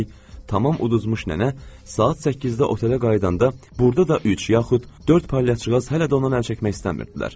Üstəlik, tamam uduzmuş nənə saat 8-də otelə qayıdanda, burda da üç yaxud dörd palyaçıqaz hələ də ondan əl çəkmək istəmirdilər.